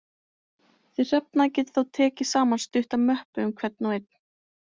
Þið Hrefna getið þá tekið saman stutta möppu um hvern og einn.